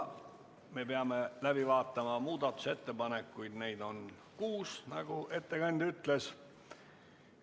Me peame läbi vaatama muudatusettepanekud, neid on kuus, nagu ettekandja ütles.